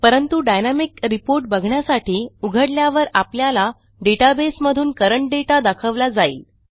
परंतु dynamic report बघण्यासाठी उघडल्यावर आपल्याला डेटाबेस मधून करंट दाता दाखवला जाईल